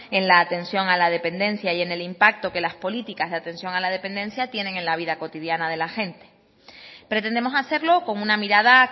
en la atención a la dependencia y en el impacto que las políticas de atención a la dependencia tienen en la vida cotidiana de la gente pretendemos hacerlo con una mirada